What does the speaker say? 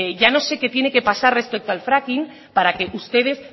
ya no sé qué tiene que pasar respecto al fracking para que ustedes